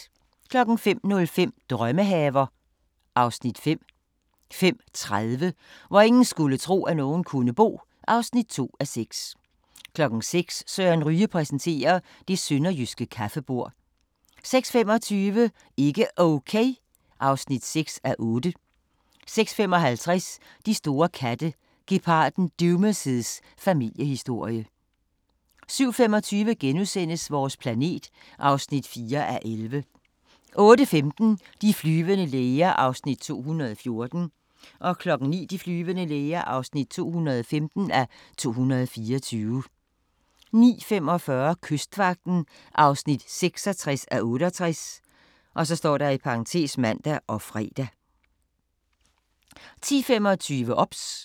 05:05: Drømmehaver (Afs. 5) 05:30: Hvor ingen skulle tro, at nogen kunne bo (2:6) 06:00: Søren Ryge præsenterer: Det sønderjyske kaffebord 06:25: Ikke Okay (6:8) 06:55: De store katte – Geparden Duma's familiehistorie 07:25: Vores planet (4:11)* 08:15: De flyvende læger (214:224) 09:00: De flyvende læger (215:224) 09:45: Kystvagten (66:68)(man og fre) 10:25: OBS